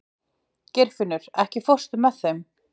Geirfinnur, ekki fórstu með þeim?